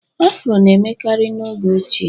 afro na-emekarị n'oge ochie